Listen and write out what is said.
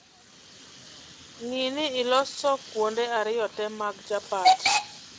Ng'ii ni iloko kuonde ariyo tee mag chapat